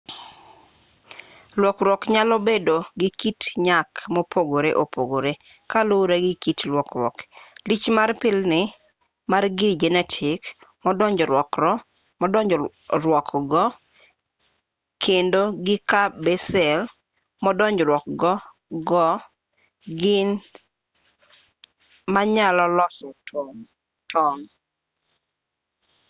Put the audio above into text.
lokruok nyalo bedo gi kit nyak mopogore opogore kaluwore gi kit lokruok lich mar pilni mar gir jenetik modonjruokgo kendo gi ka be sel modonjruokgo go gin sel manyalo loso tong'